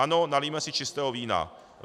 Ano, nalijme si čistého vína.